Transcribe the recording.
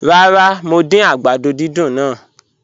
Ràrà, mo dín àgbàdó dídùn náà